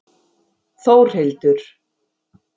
Þórhildur